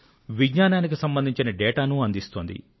విజ్ఞానానికి సంబంధించిన డేటాను అందిస్తోంది